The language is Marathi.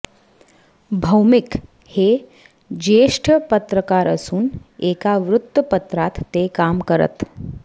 भौमिक हे ज्येष्ठ पत्रकार असून एका वृत्तपत्रात ते काम करत